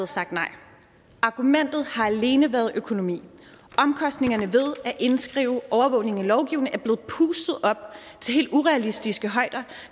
sagt nej argumentet har alene været økonomi omkostningerne ved at indskrive overvågning i lovgivningen er blevet pustet op til helt urealistiske højder